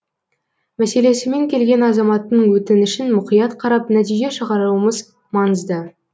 мәселесімен келген азаматтың өтінішін мұқият қарап нәтиже шығаруымыз маңызды